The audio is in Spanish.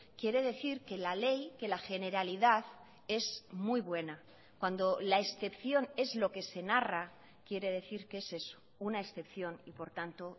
quiere decir que la ley que la generalidad es muy buena cuando la excepción es lo que se narra quiere decir qué es eso una excepción y por tanto